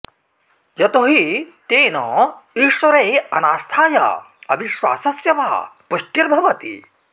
यतो हि तेन ईश्वरे अनास्थाया अविश्वासस्य वा पुष्टिर्भवति